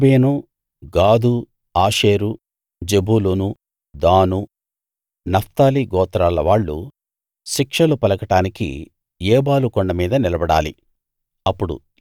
రూబేను గాదు ఆషేరు జెబూలూను దాను నఫ్తాలి గోత్రాల వాళ్ళు శిక్షలు పలకడానికి ఏబాలు కొండ మీద నిలబడాలి